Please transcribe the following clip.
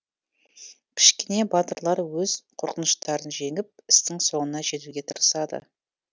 кішкене батырлар өз қорқыныштарын жеңіп істің соңына жетуге тырысады